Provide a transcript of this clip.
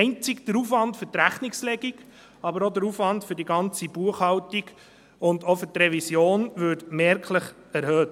Einzig der Aufwand für die Rechnungslegung, aber auch der Aufwand für die ganze Buchhaltung und auch für die Revision, würde merklich erhöht.